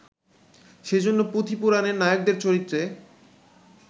সেজন্য পুঁথি-পুরাণের নায়কদের চরিত্রে